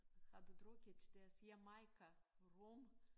Har du drukket deres Jamaica rom?